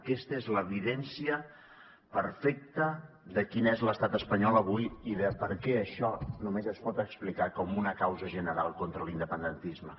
aquesta és l’evidència perfecta de quin és l’estat espanyol avui i de per què això només es pot explicar com una causa general contra l’independentisme